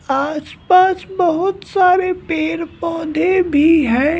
आसपास बहुत सारे पेर पौधे भी हैं।